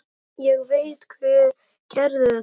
Ég veit hver gerði þetta.